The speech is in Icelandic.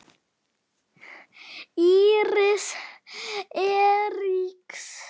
Íris Eiríks.